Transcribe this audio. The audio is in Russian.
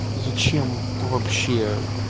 зачем вообще